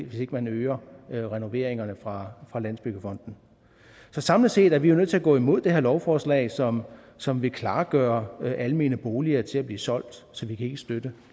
hvis ikke man øger renoveringerne fra landsbyggefonden så samlet set er vi jo nødt til at gå imod det her lovforslag som som vil klargøre almene boliger til at blive solgt så vi kan ikke støtte